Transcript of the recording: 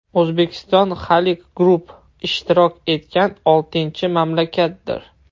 O‘zbekiston Halyk Group ishtirok etgan oltinchi mamlakatdir.